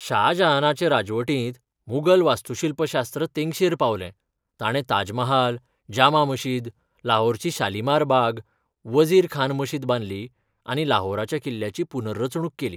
शाह जाहानाचे राजवटींत मुघल वास्तूशिल्पशास्त्र तेंगशेर पावलें, ताणें ताजमहाल, जामा मशीद, लाहोरची शालिमार बाग, वजीर खान मशीद बांदली आनी लाहोराच्या किल्ल्याची पुनर्रचणूक केली.